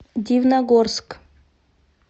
дивногорск